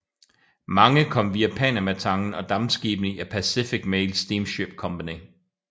Mange kom via Panamatangen og dampskibene i Pacific Mail Steamship Company